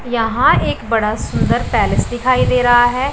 यहां एक बड़ा सुंदर पैलेस दिखाई दे रहा है।